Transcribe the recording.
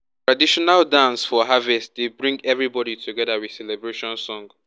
traditional dance for harvest dey um bring everybody together with celebration um song.